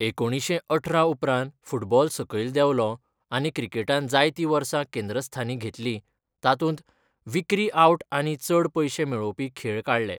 एकुणीशें अठरा उपरांत फुटबॉल सकयल देंवलो आनी क्रिकेटान जायतीं वर्सां केंद्रस्थानी घेतली, तातूंत विक्री आउट आनी चड पयशे मेळोवपी खेळ काडले.